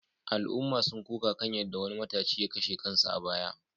Al’umma sun koka kan yadda wani matashi ya kashe kansa a baya